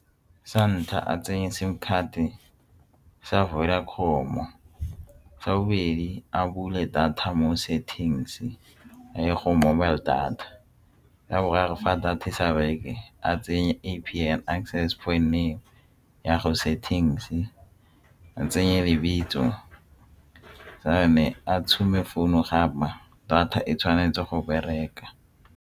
Sa ntlha a tsenya sim card-e sa Vodacom-o, sa bobedi a bule data mo settings a ye go mobile data sa boraro fa data sa bereke a tsenye acess point ya go se things a tsenye le ditso tse ne a tshuma founu data e tshwanetse go bereka.